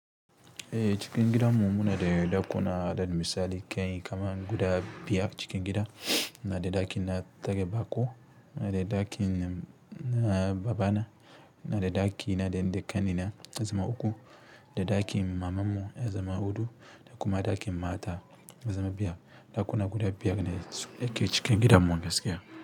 Eh cikin gidanmu munada ɗakuna, misali kamarln guda biyar. Cikin gida muna da ɗakin na tare baƙo, munada ɗakin na babana, munada ɗakina dani da ƙanina na yazama uku, da ɗakin mamanmu ya zama huɗu, da kuma ɗakin mata ya zama biyar, da kuna guda biyar cikin gidan mu gaskiya.